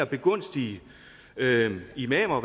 begunstige imamer